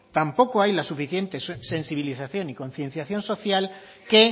tampoco hay la suficiente sensibilización y concienciación social que